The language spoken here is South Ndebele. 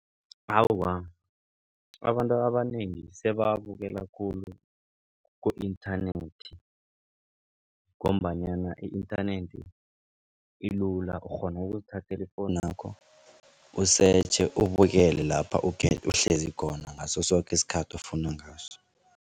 Awa, abantu abanengi sebawabukela khulu ku-internet. Ngombanyana i-internet ilula ukghona ukuzithathela ifowunakho usetjhe ubukele lapha uhlezi khona ngaso soke isikhathi ofuna ngaso.